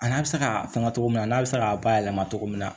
A n'a bɛ se k'a fanga cogo min na n'a bɛ se k'a bayɛlɛma cogo min na